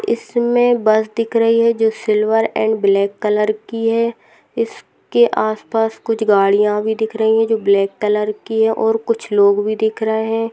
इसमें बस दिख रही है जो सिल्वर एंड ब्लैक कलर की है इसके आसपास कुछ गाड़ियां भी दिख रही है जो ब्लैक कलर की है और कुछ लोग भी दिख रहे हैं |